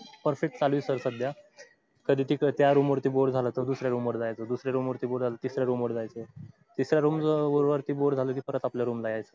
perfect चालू sir आहे सध्या कधी तीकड त्या room वरती boar झाल कि दुसऱ्या room वर जायचा तिसर्या room वरती boar झाला कि परत आपल्य room वर यायचं